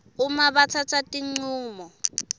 uma batsatsa tincumo